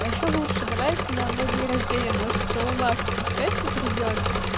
а ещё лучше давайте на мой день рождения двадцать шестого марта пускай всё придёт